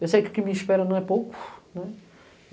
Eu sei que o que me espera não é pouco, né.